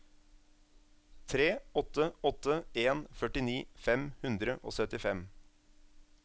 tre åtte åtte en førtini fem hundre og syttifem